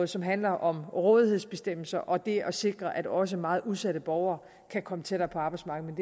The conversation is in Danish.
som handler om rådighedsbestemmelser og det at sikre at også meget udsatte borgere kan komme tættere på arbejdsmarkedet